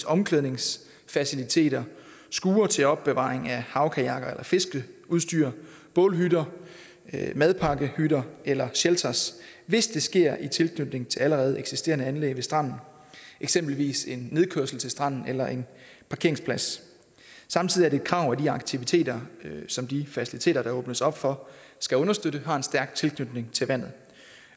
omklædningsfaciliteter skure til opbevaring af havkajakker eller fiskeudstyr bålhytter madpakkehytter eller shelters hvis det sker i tilknytning til allerede eksisterende anlæg ved stranden eksempelvis en nedkørsel til stranden eller en parkeringsplads samtidig er det et krav at de aktiviteter som de faciliteter der åbnes op for skal understøtte har en stærk tilknytning til vandet